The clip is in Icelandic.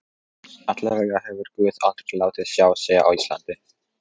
Allavega hefur guð aldrei látið sjá sig á Íslandi.